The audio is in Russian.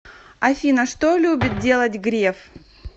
афина что любит делать греф